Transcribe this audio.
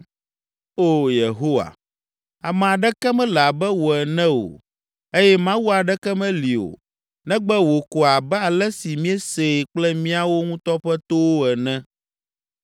“Oo Yehowa, ame aɖeke mele abe wò ene o eye mawu aɖeke meli o negbe wò ko abe ale si míesee kple míawo ŋutɔ ƒe towo ene.